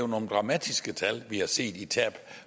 nogle dramatiske tal vi har set i tab